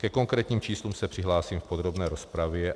Ke konkrétním číslům se přihlásím v podrobné rozpravě.